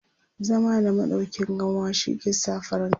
zama da maɗauƙin kanwa shi ke sa farin kai